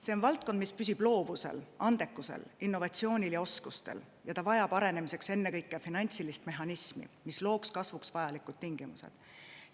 See on valdkond, mis püsib loovusel, andekusel, innovatsioonil ja oskustel, ning ta vajab arenemiseks ennekõike finantsilist mehhanismi, mis looks kasvuks vajalikud tingimused.